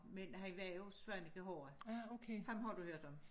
Men han var jo Svaneke horra. Ham har du hørt om